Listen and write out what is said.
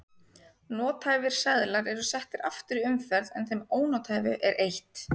Nothæfir seðlar eru settir aftur í umferð en þeim ónothæfu er eytt.